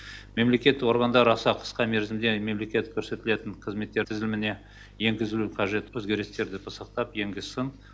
мемлекет органдар аса қысқа мерзімде мемлекет көрсетілетін қызметтер тізіміне енгізілуі қажет өзгерістерді пысықтап енгізсін